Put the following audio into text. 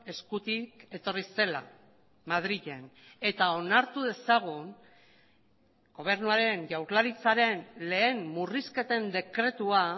eskutik etorri zela madrilen eta onartu dezagun gobernuaren jaurlaritzaren lehen murrizketen dekretua